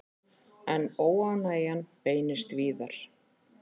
En óánægjan beinist víðar.